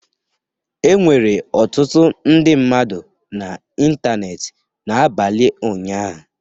Enwere ọtụtụ ndị mmadụ n'ịntanetị n'abalị ụnyaahụ